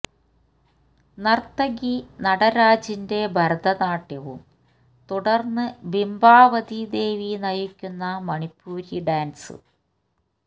നര്ത്തകി നടരാജിന്റെ ഭരതനാട്യവും തുടര്ന്നു ബിംബാവതി ദേവി നയിക്കുന്ന മണിപ്പൂരി ഡാന്സ്